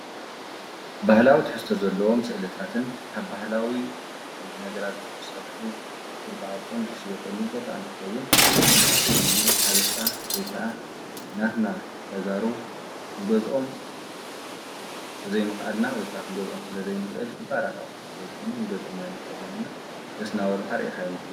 ባህላዊ ትሕስተ ዘለዎም ስእልጣትን ካብ ባሕላዊ ነገራት ዝተሠርሑ ክርፁ ዓርፅን ዝሽየጠሉቦት እንትኸውን መብዛሕቲ ጊዜ ሓበሻ ወይከዓ ናትና ተጋሩ ክንገዝኦም ብዘይምኽኣልና ወይከ ኽንገዝኦም ስለ ዘይንኽእል ክባራታዉሕት ስለ ዝኾኑ ንገዝኦም ኣይንኽእለንና ለስናወልኻ ርኢኻ ያ ምሕለ።